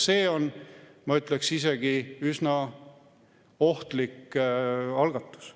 See on, ma ütleksin, isegi üsna ohtlik algatus.